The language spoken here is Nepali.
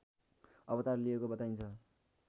अवतार लिएको बताइन्छ।